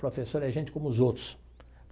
Professor é gente como os outros.